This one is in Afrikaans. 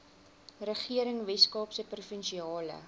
regering weskaapse provinsiale